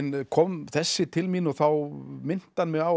kom þessi til mín og þá minnti hann mig á að